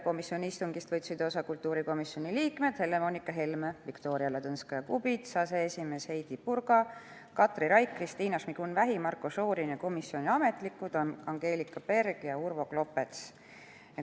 Istungist võtsid osa kultuurikomisjoni liikmed Helle-Moonika Helme, Viktoria Ladõnskaja-Kubits, aseesimees Heidy Purga, Katri Raik, Kristina Šmigun-Vähi, Marko Šorin ning komisjoni ametnikud Angelika Berg ja Urvo Klopets.